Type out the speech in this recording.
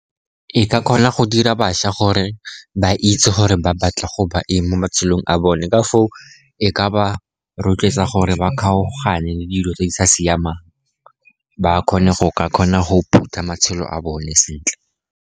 E ka kgona go dira bašwa gore ba itse gore ba batla go ba eng mo matshelong a bone, ka foo e ka ba rotloetsa gore ba kgaogane le dilo tse di sa siamang, ba kgone go ka kgona go phutha matshelo a bone sentle.